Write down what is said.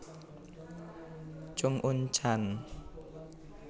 Chung Un chan